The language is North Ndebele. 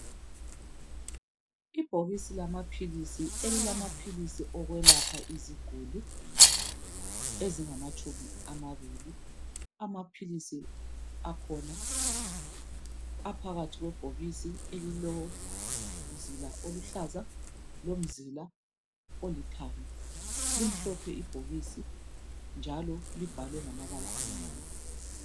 Ibhokisi lamaphilisi, elilamaphilisi okwelapha iziguli ezingamatshumi amabili , amaphilisi akhona aphakathi kwebhokisi elilomzila oluhlaza lomzila olithanga , limhlophe ibhokisi njalo libhalwe ngamabala amnyama